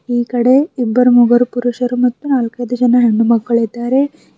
ಈ ಕಡೆ ಇಬ್ಬರು ಮೂಗರು ಪುರುಷರು ಮತ್ತು ನಾಲ್ಕೈದು ಜನ ಹೆಣ್ಣುಮಕ್ಕಳು ಇದ್ದಾರೆ.